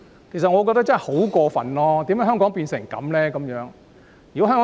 我認為這實在太過分，香港為何會變成這樣？